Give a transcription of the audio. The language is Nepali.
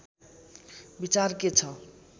विचार के छ